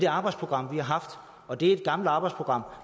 arbejdsprogram og det er et gammelt arbejdsprogram